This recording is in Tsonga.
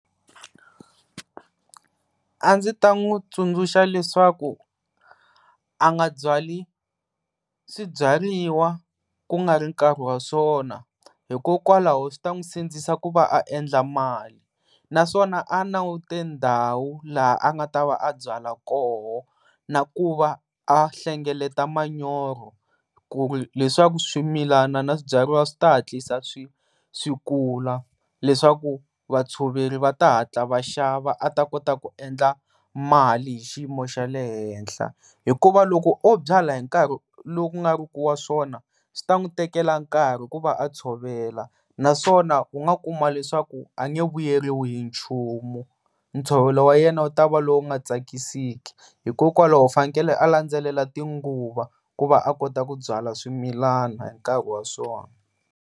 A ndzi ta n'wi tsundzuxa leswaku a nga byali swibyariwa ku nga ri nkarhi wa swona hikokwalaho swi ta n'wi sindzisa ku va a endla mali. Naswona a languti ndhawu laha a nga ta va a byala va kona na ku va a hlengeleta manyoro ku ri leswaku swimilana na swibyariwa swi ta hatlisa swi kula leswaku vatshoveri va ta hatla va xava a ta kota ku endla mali hi xiyimo xa le henhla. Hikuva loko o byala hinkarhi lowu ku nga ri ku wa swona swi ta n'wi tekela nkarhi ku va a tshovela naswona u nga kuma leswaku a nge vuyeriwi hi nchumu, ntshovelo wayena u tava lowu nga tsakisiki hikokwalaho fanekele a landzelela tinguva ku va a kota ku byala swimilana hi nkarhi wa swona.